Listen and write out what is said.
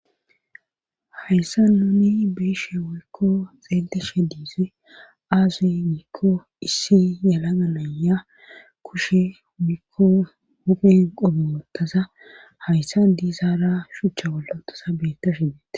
Hayssa nuni beeshe woykko xeelteshe diise aazuy giikko issi yala ganaya kushe umikko huphen qobe wottaza hayssa diisaara shuchcha wollotasa beetta shidete.